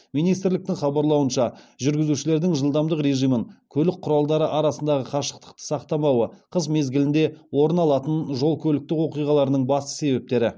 министрліктің хабарлауынша жүргізушілердің жылдамдық режимін көлік құралдары арасындағы қашықтықты сақтамауы қыс мезгілінде орын алатын жол көліктік оқиғаларының басты себептері